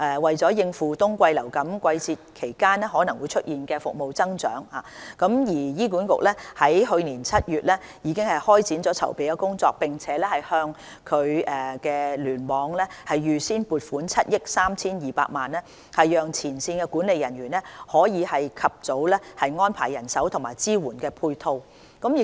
為應付冬季流感季節期間可能出現的服務需求增長，醫管局在去年7月已開展籌備工作，並向醫院聯網預先撥款7億 3,200 萬元，讓前線管理人員可以及早安排人手及支援配套。